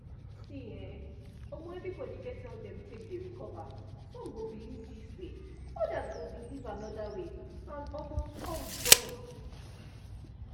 see[um][um] everybody get how dem take dey recover some go believe this way others go believe another way and um all join